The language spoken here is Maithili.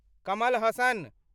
कमल हासन